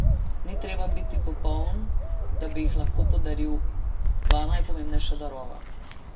Ni treba biti popoln, da bi jih lahko podarili dva najpomembnejša darova.